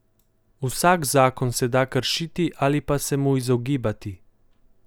Vsak zakon se da kršiti ali pa se mu izogibati.